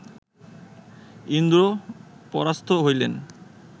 ইন্দ্র পরাস্ত হইলেন